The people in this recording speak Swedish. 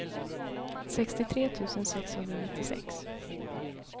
sextiotre tusen sexhundranittiosex